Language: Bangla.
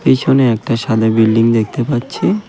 এইখানে একটা সাদা বিল্ডিং দেখতে পাচ্ছি.